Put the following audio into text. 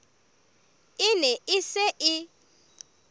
e ne e se e